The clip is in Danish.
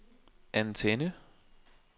antenne